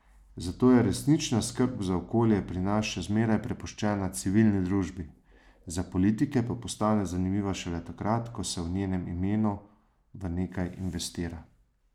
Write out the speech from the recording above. Zato je resnična skrb za okolje pri nas še zmeraj prepuščena civilni družbi, za politike pa postane zanimiva šele takrat, ko se v njenem imenu v nekaj investira.